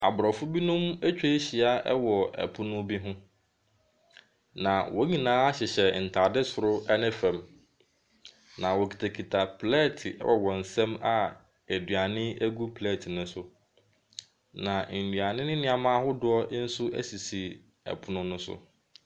Aborɔfo binom atwa ahyia wɔ pono bi so, na wɔn nyinaa hyehyɛ ntaade soro ne fam. Na wɔkitakita plɛɛte wɔ wɔn nsam a aduane gu plɛɛte ne so. Na nnuane ne nneɛma ahodoɔ nso sisi pono ne so.